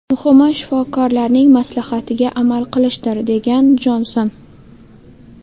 Muhimi, shifokorlarning maslahatiga amal qilishdir”, degan Jonson.